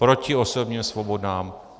Proti osobním svobodám.